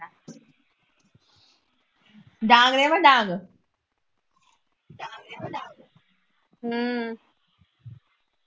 ਡਾਂਗ ਲੈ ਆਵਾ ਡਾਂਗ